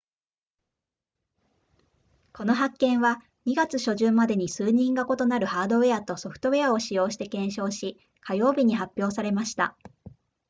この発見は2月初旬までに数人が異なるハードウェアとソフトウェアを使用して検証し火曜日に発表されました